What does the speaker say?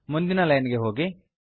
ಮುಂದಿನ ಲೈನ್ ಗೆ ಹೋಗಿ